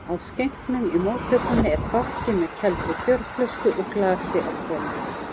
Á skenknum í móttökunni er bakki með kældri bjórflösku og glasi á hvolfi.